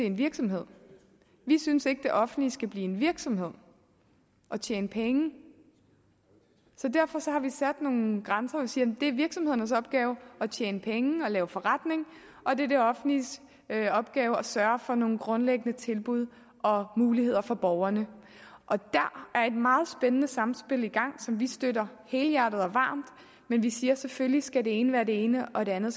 en virksomhed vi synes ikke det offentlige skal blive en virksomhed og tjene penge så derfor har vi sat nogle grænser og vi siger det er virksomhedernes opgave at tjene penge og lave forretning og det er det offentliges opgave at sørge for nogle grundlæggende tilbud og muligheder for borgerne og der er et meget spændende samspil i gang som vi støtter helhjertet og varmt men vi siger at selvfølgelig skal det ene være det ene og det andet